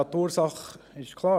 Ja, die Ursache ist klar: